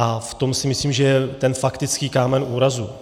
A v tom si myslím, že je ten faktický kámen úrazu.